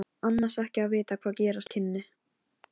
Og hvað skal þetta merkja, biskup Jón?